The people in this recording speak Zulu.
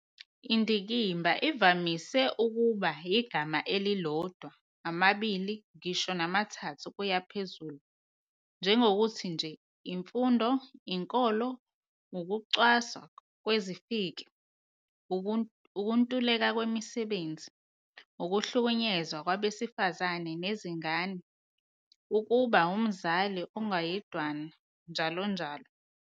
Indikimba ivamise ukuba igama elilodwa, amabili, ngisho namathathu kuye phezulu, njengokuthi nje imfundo, inkolo, ukucwaswa kwezifiki, ukuntuleka kwemisebenzi, ukuhlukunyezwa kwabesifazane nezingane, ukuba ngumzali ongayedwana, njalonjalo.